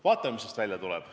Vaatame, mis sellest välja tuleb.